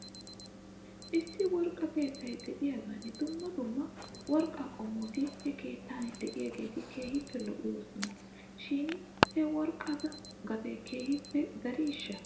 Issi worqqa keettay de'iyaagan dumma dumma worqqaa qommoti he keettan de'iyaageeti keehippe lo'oosina shin he worqqatu gatee keehippe dariishsha ?